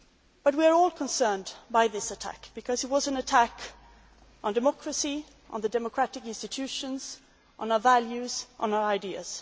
But we are all concerned by this attack because it was an attack on democracy, on the democratic institutions, on our values and on our ideals.